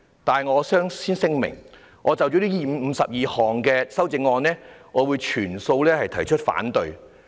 但我先此聲明，就這52項修正案，我會全數反對。